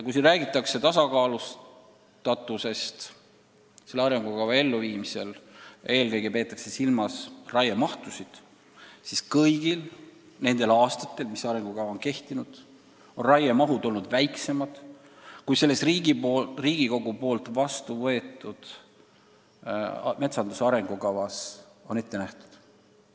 Siin on räägitud tasakaalustatusest selle arengukava elluviimisel – eelkõige on silmas peetud raiemahtusid –, aga ma märgin, et kõigil nendel aastatel, mis arengukava on kehtinud, on raiemahud olnud väiksemad, kui Riigikogus vastuvõetud metsanduse arengukavas on ette nähtud.